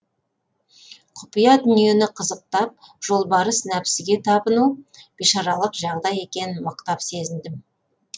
құпия дүниені қызықтап жолбарыс нәпсіге табыну бишаралық жағдай екенін мықтап сезіндім